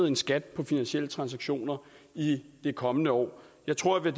en skat på finansielle transaktioner i det kommende år jeg tror jeg